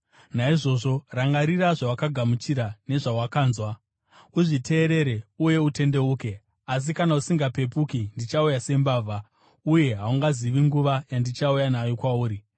Naizvozvo, rangarira zvawakagamuchira nezvawakanzwa; uzviteerere, uye utendeuke. Asi kana usingapepuki, ndichauya sembavha, uye haungazivi nguva yandichauya nayo kwauri.